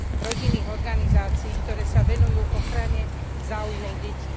rodinných organizácií, ktoré sa venujú ochrane záujmov detí.